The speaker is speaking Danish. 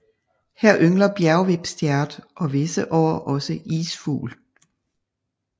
Her yngler bjergvipstjert og visse år også isfugl